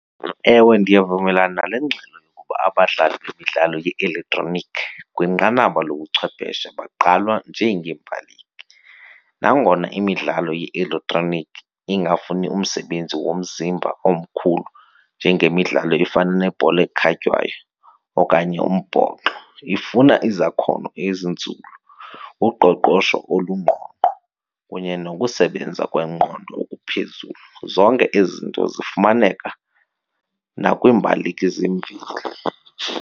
Ewe, ndiyavumelana nale ngxelo yokuba abadlali bemidlalo ye-elektroniki kwinqanaba lobuchwepheshe bagqalwa njengeembaleki. Nangona imidlalo ye-elektroniki ingafuni umsebenzi womzimba omkhulu njengemidlalo efana nebhola ekhatywayo okanye eyombhoxo, ifuna izakhono ezinzulu, uqoqosho olungqongqo kunye nokusebenza kwengqondo okuphezulu. Zonke ezi zinto zifumaneka nakwiimbaleki zemveli.